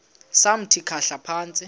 samthi khahla phantsi